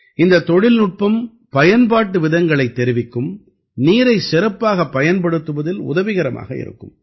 இந்தத் தொழில்நுட்பம் பயன்பாட்டு விதங்களைத் தெரிவிக்கும் நீரைச் சிறப்பாகப் பயன்படுத்துவதில் உதவிகரமாக இருக்கும்